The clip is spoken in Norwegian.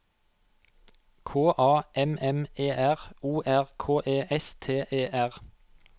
K A M M E R O R K E S T E R